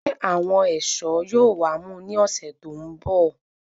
Njẹ àwọn ẹṣọ yóò wá mú ní ọsẹ tó n bọ